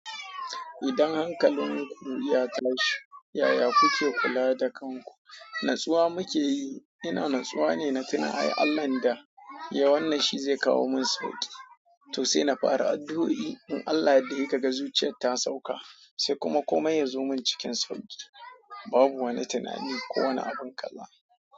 Idan hankalin ku ya tashi, yaya kuke kula da kanku? Natsuwa muke yi. Ina natsuwa ne na tuna ai Allahn da ya wannan shi zai kawo min sauƙi to sai na fara addu'o'i. In Allah ya yadda he kaga zuciyar ta sauka sai kuma komai ya zo min cikin sauƙi. Babu wani tunani ko wani abin kalla.